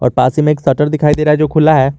पास ही में एक शटर दिखाई दे रहा है जो खुला है।